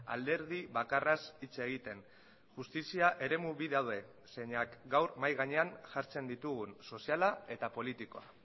alderdi bakarraz hitz egiten justizia eremu bi daude zeinak gaur mahai gainean jartzen ditugun soziala eta politikoa